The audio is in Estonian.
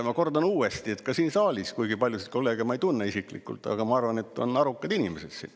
Ma kordan uuesti, et kuigi ma paljusid kolleege ei tunne isiklikult, ma arvan, et siin saalis on arukad inimesed.